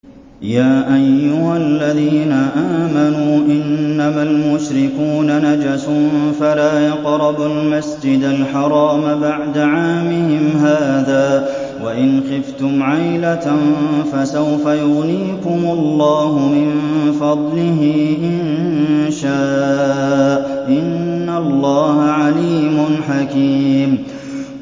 يَا أَيُّهَا الَّذِينَ آمَنُوا إِنَّمَا الْمُشْرِكُونَ نَجَسٌ فَلَا يَقْرَبُوا الْمَسْجِدَ الْحَرَامَ بَعْدَ عَامِهِمْ هَٰذَا ۚ وَإِنْ خِفْتُمْ عَيْلَةً فَسَوْفَ يُغْنِيكُمُ اللَّهُ مِن فَضْلِهِ إِن شَاءَ ۚ إِنَّ اللَّهَ عَلِيمٌ حَكِيمٌ